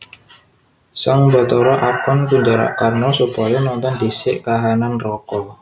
Sang Bathara akon Kunjarakarna supaya nonton dhisik kahanan neraka